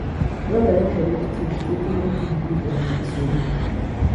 Dwarore ni orit kich kik hinygi gi gik ma nigi sum.